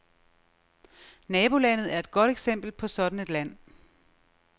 Nabolandet er et godt eksempel på sådan et land.